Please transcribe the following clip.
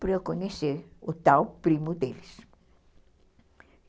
para eu conhecer o tal primo deles.